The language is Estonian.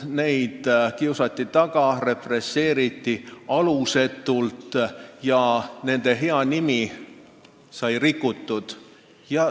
Neid kiusati taga, represseeriti alusetult ja nende hea nimi sai määritud.